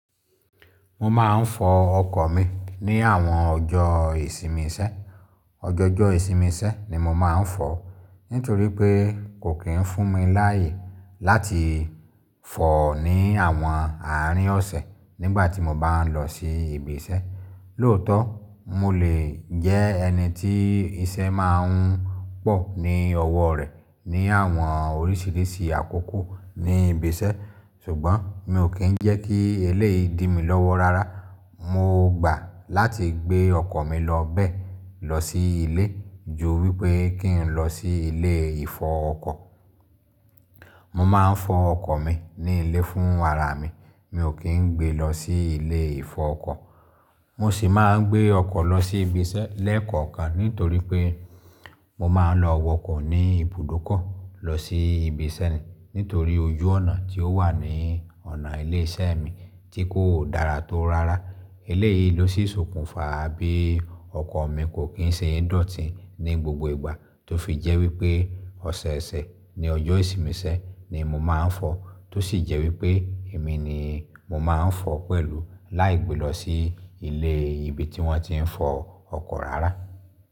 Mo máa ń fọ ọkọ̀ mi ní àwọn ọjọ́ ìsinmi iṣẹ́. Ọjọ̀jọ ìsinmi iṣẹ́ ni mo máa ń fọ nítorí pé kò kí ń fún mi láyè láti fọ̀ ní àwọn àárín ọ̀sẹ̀ nígbà tí mo bá ń lọ sí ibi iṣẹ́. Lóòótọ́, mo lè jẹ́ ẹni tí iṣẹ́ máa ń pọ̀ ní ọwọ́ rẹ̀ ní àwọn oríṣìíríṣìí àkókò ní ibi iṣẹ́ ṣùgbọ́n mi ò kí ń jẹ́ kí eléyìí dí mi lọ́wọ́ rárá. Mo gbà láti gbé ọkọ̀ mi lọ bẹ̀ lọ sí ilé ju wípé kí ń lọ sí ilé ìfọ ọkọ̀. Mo máa ń fọ ọkọ̀ mi ní ilé fún ara mi, mi ò kí ń gbé lọ sí ilé ìfọ ọkọ̀. Mo sì máa ń gbé ọkọ̀ lọ sí ibi iṣẹ́ lẹ́ẹ̀kọ̀kan nítorí pé mo máa ń lọ wọkọ̀ ní ibùdókọ̀ lọ sí ibi iṣẹ́ mi nítorí ojú ọ̀nà tí ó wà ní ọ̀nà ilé iṣẹ́ mi tí kò dára tó rárá. Eléyìí ló sì ṣokùnfà bí ọkọ̀ mi kò kín ṣe é dọ̀tí ní gbogbo ìgbà tó fi jẹ́ wípé ọ̀sẹ̀ẹ̀sẹ̀ ní ọjọ́ ìsinmi iṣẹ́ ni mo máa ń fọ, tó sì jẹ́ wípé èmi ni mo máa ń fọ pẹ̀lú láì gbe lọ sí ilé ibi tí wọ́n ti ń fọ ọkọ̀ rárá.